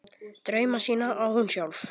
Drauma sína á hún sjálf.